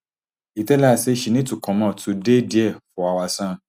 e tell her say she need to comot to dey dia for our son